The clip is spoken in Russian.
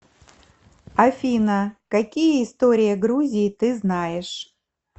афина какие история грузии ты знаешь